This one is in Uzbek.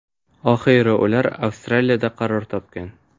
Oxiri ular Avstraliyada qaror topgan.